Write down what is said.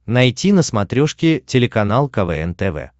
найти на смотрешке телеканал квн тв